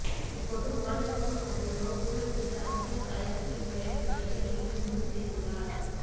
இப்போது மாநிலங்கள் வாரியாக ஊழல் செய்த அரசியல் தலைவர்களின் பெயர் பட்டியலை வெளியிட முடிவு செய்துள்ளார்